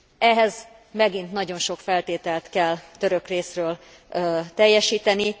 Ehhez megint nagyon sok feltételt kell török részről teljesíteni.